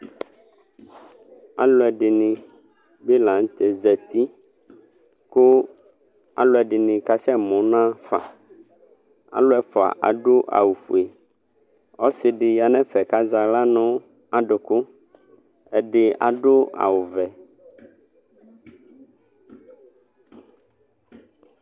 ɑluɛdini bi lɑnutɛzɑti kuɑluɛdini kɑsɛmu nɑfɑ ɑluɛfuɑ ɑdu ɑwufuɛ ɔsidiyɑnɛfɛ kɑzɑhlɑ nɑduku ɔtɑ ɑdu ɑwuvɛ